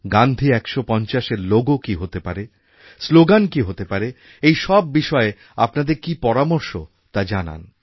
গান্ধী ১৫০এর লোগো কী হতে পারে স্লোগান কী হতে পারে এই সব বিষয়ে আপনাদের কি পরামর্শ তা জানান